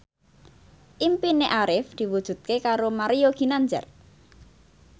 impine Arif diwujudke karo Mario Ginanjar